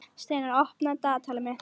Steinar, opnaðu dagatalið mitt.